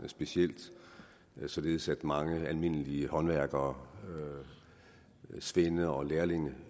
således at mange almindelige håndværkere svende og lærlinge